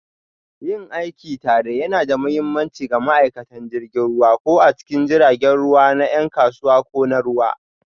Yin aiki tare yana da mahimmanci ga ma'aikatan jirgin ruwa, ko a cikin jiragen ruwa na 'yan kasuwa ko na ruwa,